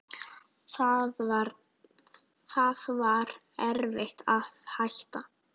Það var erfitt að hætta.